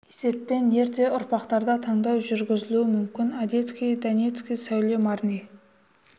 есеппен ерте ұрпақтарда таңдау жүргізілуі мүмкін одесский донецкий сәуле марни